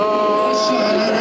Kərbəla!